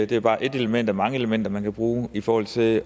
det er bare et element af mange elementer man kan bruge i forhold til